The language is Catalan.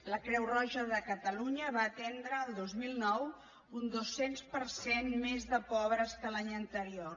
la creu roja de catalunya va atendre el dos mil nou un dos cents per cent més de pobres que l’any anterior